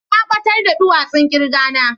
Na batar da duwasun kirga na.